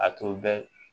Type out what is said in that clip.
A tun bɛ